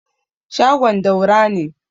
shagon Daura ne